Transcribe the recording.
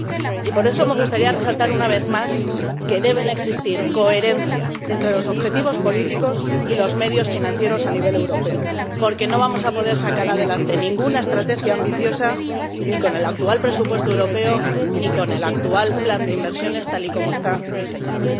Y, por eso, me gustaría resaltar una vez más que debe existir coherencia entre los objetivos políticos y los medios financieros a nivel europeo, porque no vamos a poder sacar adelante ninguna estrategia ambiciosa ni con el actual presupuesto europeo, ni con el actual plan de inversiones, tal y como está diseñado.